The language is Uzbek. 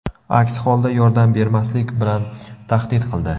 Aks holda yordam bermaslik bilan tahdid qildi.